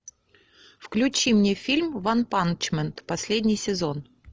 включи мне фильм ванпанчмен последний сезон